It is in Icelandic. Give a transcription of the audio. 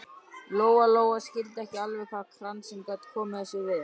Lóa Lóa skildi ekki alveg hvað kransinn gat komið þessu við.